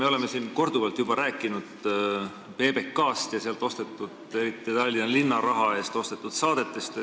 Me oleme siin korduvalt rääkinud PBK-st ja sealt ostetud saadetest, eriti Tallinna linna raha eest ostetud saadetest.